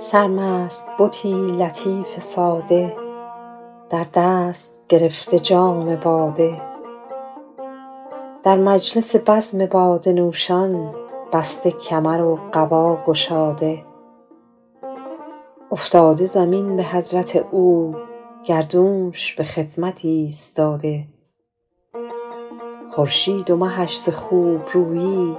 سرمست بتی لطیف ساده در دست گرفته جام باده در مجلس بزم باده نوشان بسته کمر و قبا گشاده افتاده زمین به حضرت او گردونش به خدمت ایستاده خورشید و مهش ز خوبرویی